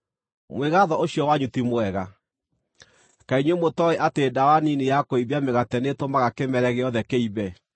Mwĩgaatho ũcio wanyu ti mwega. Kaĩ inyuĩ mũtooĩ atĩ ndawa nini ya kũimbia mĩgate nĩĩtũmaga kĩmere gĩothe kĩimbe?